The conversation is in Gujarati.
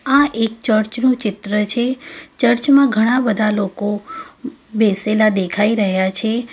આ એક ચર્ચ નું ચિત્ર છે ચર્ચ માં ઘણા બધા લોકો બેસેલા દેખાઈ રહ્યા છે.